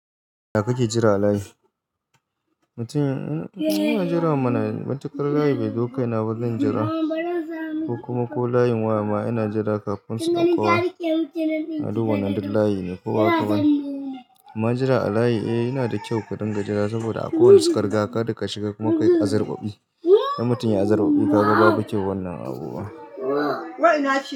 Ina kake jira a layi? Mutum ina jira mana matuƙar layi bai zo kaina ba zan jira, ko kuma ko layin waya ma ana jira kafin suka kawo. Na duba nan duk layi ne, ko ba ka bani? Ma jira a layi, eh yana da kyau ka dinga jira saboda akwai wanda su ka riga ka, kada ka shiga kuma kai azarɓaɓi. Dan mutum yayi azarɓaɓi ka ga babu kyau wannan abubuwa.